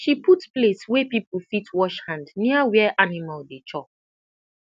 she put place wey people fit wash hand near where animal dey chop